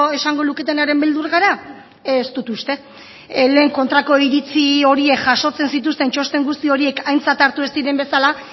esango luketenaren beldur gara ez dut uste lehen kontrako iritzi horiek jasotzen zituzten txosten guzti horiek aintzat hartu ez diren bezala